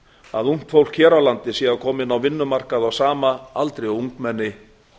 að ungt fólk á vinnumarkaði á sama aldri og ungmenni